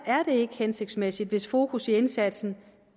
er det ikke hensigtsmæssigt hvis fokus i indsatsen